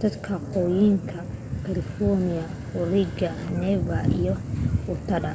dadka waqooyiga california oregon nevada iyo utah